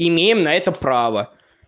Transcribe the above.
имеем на это право